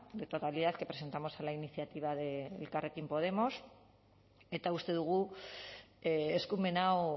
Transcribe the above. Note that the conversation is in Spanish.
de totalidad que presentamos en la iniciativa de elkarrekin podemos eta uste dugu eskumen hau